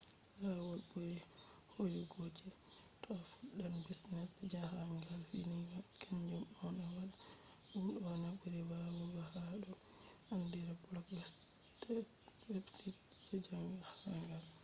lawol ɓuri hoyugo je to a fuɗɗan business je jahangal vindi kanju on a anda ɗume on a ɓuri wawugo ha do ɓe andiri blog website je jahangal